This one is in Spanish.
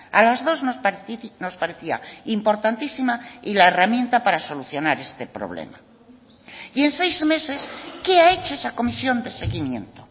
a las dos nos parecía importantísima y la herramienta para solucionar este problema y en seis meses qué ha hecho esa comisión de seguimiento